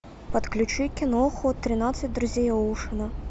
подключи киноху тринадцать друзей оушена